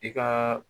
I ka